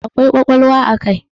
Akwai ƙwaƙwalwa a kai.